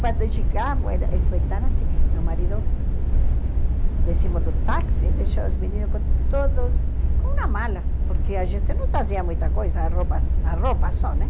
Quando chegamos, era foi tão assim, meu marido, descemos do táxi, deixou os meninos com todos, com uma mala, porque a gente não trazia muita coisa, a roupa a roupa só, né?